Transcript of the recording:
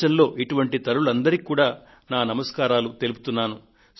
దేశంలో ఇటువంటి తల్లులు అందరికీ కూడా నా వందనములు తెలుపుకొంటున్నాను